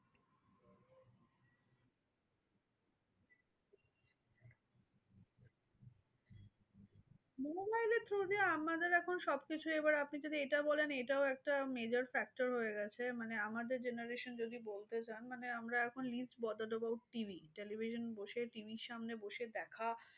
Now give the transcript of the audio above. mobile through দিয়ে আমাদের এখন সবকিছু এবার আপনি যদি এটা বলেন এইটাও একটা major factor হয়ে গেছে। মানে আমাদের generation যদি বলতে চান, মানে আমরা এখন is bother about TV television বসে TV র সামনে বসে দেখা